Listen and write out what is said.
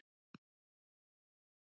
Í Fljótshlíð biðu atlotin.